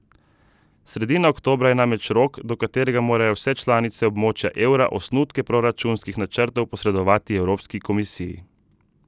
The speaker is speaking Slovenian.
Sredina oktobra je namreč rok, do katerega morajo vse članice območja evra osnutke proračunskih načrtov posredovati Evropski komisiji.